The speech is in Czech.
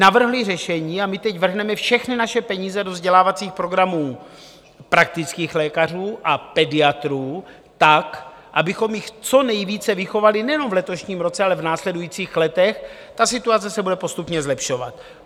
Navrhli řešení a my teď vrhneme všechny naše peníze do vzdělávacích programů praktických lékařů a pediatrů tak, abychom jich co nejvíce vychovali nejenom v letošním roce, ale v následujících letech, ta situace se bude postupně zlepšovat.